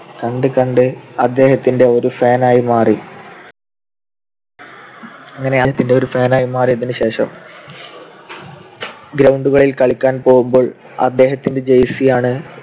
കണ്ട് കണ്ട് അദ്ദേഹത്തിന്റെ ഒരു fan ആയി മാറി. അങ്ങനെ അദ്ദേഹത്തിന്റെ fan ആയി മാറിയതിനുശേഷം ground കളിൽ കളിക്കാൻ പോകുമ്പോൾ അദ്ദേഹത്തിന്റെ jersey യാണ്